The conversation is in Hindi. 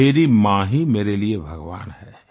मेरी माँ ही मेरे लिये भगवान है